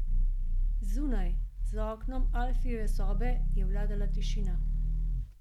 Zunaj, za oknom Alfijeve sobe, je vladala tišina.